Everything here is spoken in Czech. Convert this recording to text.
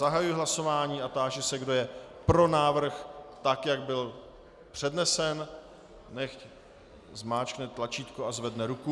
Zahajuji hlasování a táži se, kdo je pro návrh tak, jak byl přednesen, nechť zmáčkne tlačítko a zvedne ruku.